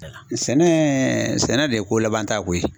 Sɛnɛ sɛnɛ de ye ko laban ta ko ye.